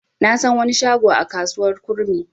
Na san wani shago a kasuwar kurmi.